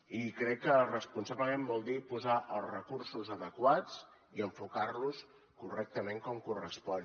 i crec que responsablement vol dir posar els recursos adequats i enfocar los correctament com correspon